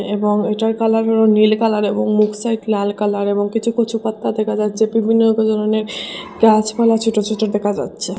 এবং এটার কালারেরও নীল কালার এবং মুখ সাইট লাল কালার এবং কিছু কচুপাত্তা দেকা যাচ্ছে বিভিন্ন ধরণের গাছপালা ছোট ছোট দেকা যাচ্ছে।